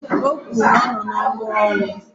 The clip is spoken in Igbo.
O kwuru na ya nọ n'ọnụ ọnwụ